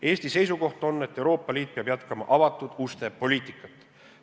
Eesti seisukoht on, et Euroopa Liit peab jätkama avatud uste poliitikat.